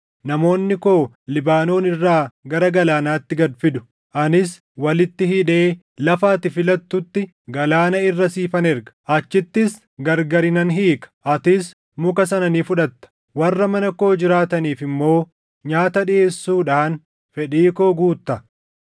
Namoonni koo Libaanoon irraa gara galaanaatti gad fidu; anis walitti hidhee lafa ati filattutti galaana irra siifan erga; achittis gargari nan hiika. Atis muka sana ni fudhatta; warra mana koo jiraataniif immoo nyaata dhiʼeessuudhaan fedhii koo guutta.”